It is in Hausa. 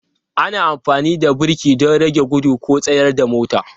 Ana amfani da birki don rage gudu ko tsayar da motar.